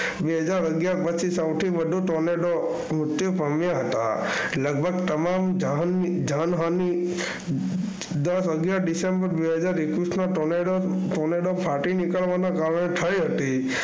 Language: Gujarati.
બે હજાર અગિયાર પછી સૌથી વધુ Tornado મૃત્યુ પામ્યા હતા. લગભગ તમામ જાન જાનહાનિ દસ અગિયાર ડિસમબેર બે હજાર એકવીસના Tornado ફાટી નીકવાના કારણે થઈ હતી.